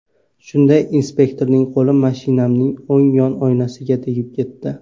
Shunday inspektorning qo‘li mashinamning o‘ng yon oynasiga tegib ketdi.